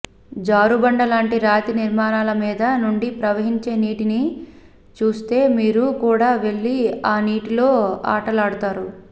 జారుబండ లాంటి రాతి నిర్మాణాల మీద నుండి ప్రవహించే నీటిని చూస్తే మీరు కూడా వెళ్ళి ఆ నీటిలో ఆటలాడుతారు